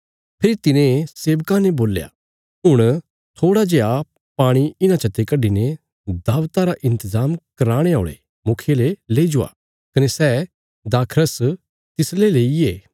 फेरी तिने सेवकां ने बोल्या हुण थोड़ा जेआ पाणी इन्हां चते कड्डीने दाबता रा इन्तजाम कराणे औल़े मुखिये ले लेई जवा कने सै दाखरस तिसले लेईये